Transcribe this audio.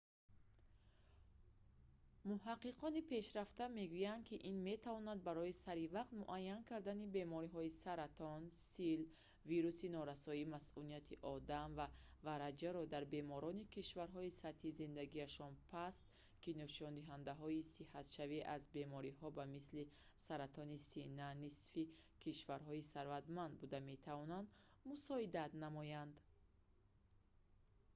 муҳаққиқони пешрафта мегӯянд ки ин метавонад барои саривақт муайян кардани бемориҳои саратон сил внмо ва вараҷаро дар беморони кишварҳои сатҳи зиндагиашон паст ки нишондиҳандаҳои сиҳатшавӣ аз бемориҳо ба мисли саратони сина нисфи кишварҳои сарватмандтар буда метавонад мусоидат намояд